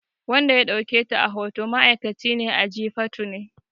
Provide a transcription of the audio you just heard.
Wanda ya ɗauke ta a hoto ma'aikaci ne a Jifatu ne